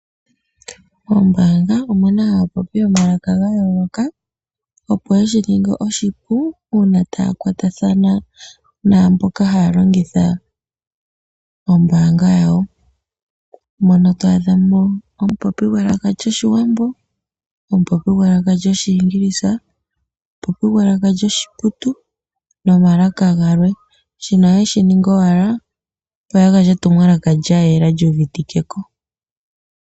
Moombaanga omu na aapopi yomalaka ga yooloka opo yeshi ninge oshipu uuna taya kwatathana naamboka taya kwatathana naamboka haya longitha ombaanga yawo. Mono to adhamo omupopi gwelaka lyoshiwambo, omupopi gwelaka lyoshiingilisa, omupopi gwelaka lyoshiputu nomalaka galwe. Shino ohaye shiningi owala opo ya gandje etumwalaka lya yela lyuuvitikiwe ko.